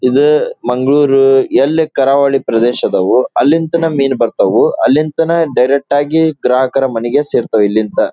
ಈದು ಮಂಗಳೂರು ಎಲ್ಲಿ ಕರಾವಳಿ ಪ್ರದೇಶ ಇದಾವು ಅಲ್ಲಿಂದ ಮೀನು ಬರ್ತಾವು ಅಲ್ಲಿಂದಾನೆ ಡೈರೆಕ್ಟಾಗಿ ಗ್ರಾಹಕರ ಮನೆಗೆ ಸೇರ್ತತೇ ಇಲ್ಲಿಂದ --